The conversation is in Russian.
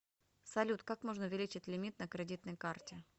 салют как можно увеличить лимит на кредитной карте